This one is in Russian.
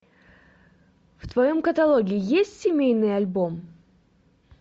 в твоем каталоге есть семейный альбом